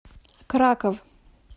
краков